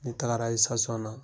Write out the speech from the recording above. N taagara na